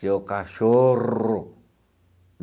Seu cachorro!